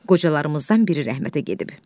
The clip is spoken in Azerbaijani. Qocalarımızdan biri rəhmətə gedib.